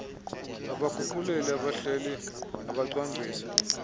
abaguquleli abahleli abacwangcisi